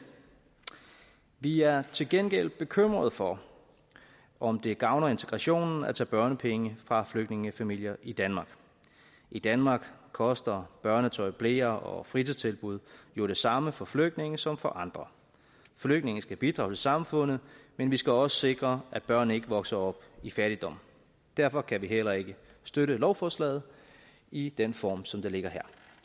vi er til gengæld bekymret for om det gavner integrationen at tage børnepenge fra flygtningefamilier i danmark i danmark koster børnetøj bleer og fritidstilbud jo det samme for flygtninge som for andre flygtninge skal bidrage til samfundet men vi skal også sikre at børnene ikke vokser op i fattigdom derfor kan vi heller ikke støtte lovforslaget i den form som det ligger her